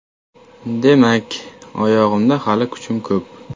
Demak, oyog‘imda hali kuchim ko‘p.